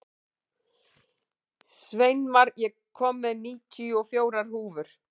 Sveinmar, ég kom með níutíu og fjórar húfur!